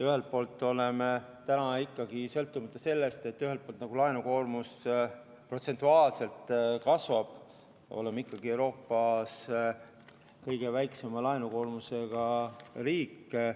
Ühelt poolt oleme täna ikkagi, sõltumata sellest, et laenukoormus protsentuaalselt kasvab, Euroopas kõige väiksema laenukoormusega riik.